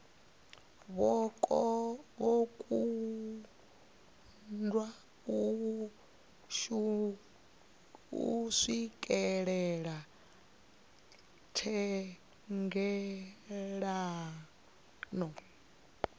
vho kundwa u swikelela thendelano